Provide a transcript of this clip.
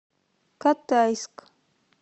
катайск